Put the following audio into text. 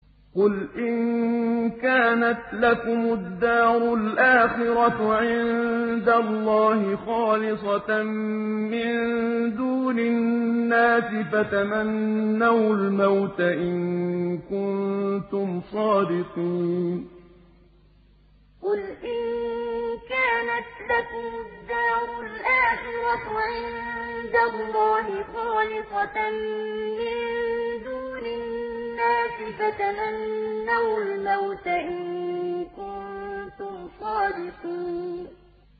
قُلْ إِن كَانَتْ لَكُمُ الدَّارُ الْآخِرَةُ عِندَ اللَّهِ خَالِصَةً مِّن دُونِ النَّاسِ فَتَمَنَّوُا الْمَوْتَ إِن كُنتُمْ صَادِقِينَ قُلْ إِن كَانَتْ لَكُمُ الدَّارُ الْآخِرَةُ عِندَ اللَّهِ خَالِصَةً مِّن دُونِ النَّاسِ فَتَمَنَّوُا الْمَوْتَ إِن كُنتُمْ صَادِقِينَ